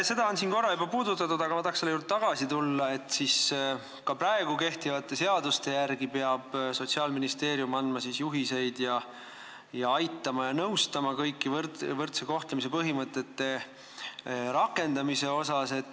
Seda on siin korra juba puudutatud, aga ma tahan selle juurde tagasi tulla, et ka kehtivate seaduste järgi peab Sotsiaalministeerium andma juhiseid ning aitama ja nõustama kõiki võrdse kohtlemise põhimõtete rakendamise asjus.